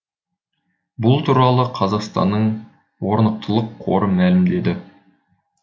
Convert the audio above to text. бұл туралы қазақстанның орнықтылық қоры мәлімдеді